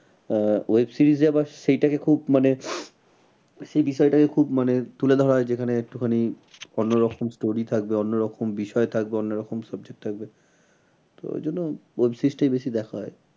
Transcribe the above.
আহ web series এ আবার সেইটাকে খুব মানে সেই বিষয়টাকে খুব মানে তুলে ধরা হয় যেখানে একটুখানি অন্য রকম story থাকবে অন্য রকম বিষয় থাকবে অন্য রকম subject থাকবে। তো ওই জন্য web series টাই বেশি দেখা হয়।